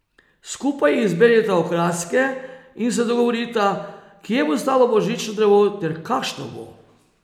Skupaj izberita okraske in se dogovorita, kje bo stalo božično drevo ter kakšno bo.